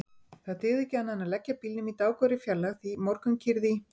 Það dygði ekki annað en leggja bílnum í dágóðri fjarlægð því morgunkyrrð í